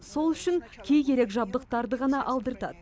сол үшін кей керек жабдықтарды ғана алдыртады